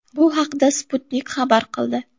Bu haqda Sputnik xabar qildi .